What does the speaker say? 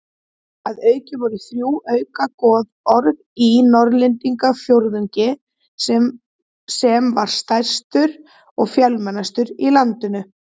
Að auki voru þrjú auka goðorð í Norðlendingafjórðungi sem var stærstur og fjölmennastur á landinu.